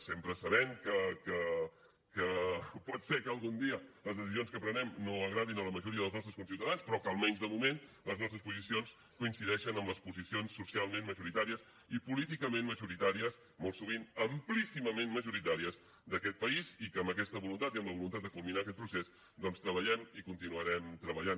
sempre sabent que pot ser que algun dia les decisions que prenem no agradin a la majoria dels nostres conciutadans però que almenys de moment les nostres posicions coincideixen amb les posicions socialment majoritàries i políticament majoritàries molt sovint amplíssimament majoritàries d’aquest país i que amb aquesta voluntat i amb la voluntat de culminar aquest procés doncs treballem i continuarem treballant